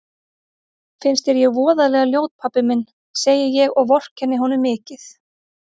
Finnst þér ég voðalega ljót pabbi minn, segi ég og vorkenni honum mikið.